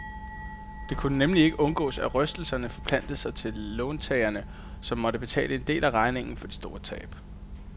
Det kunne nemlig ikke undgås, at rystelserne forplantede sig til låntagerne, som måtte betale en del af regningen for de store tab.